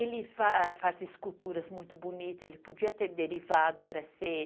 Ele faz esculturas muito bonitas, ele podia ter derivado para ser...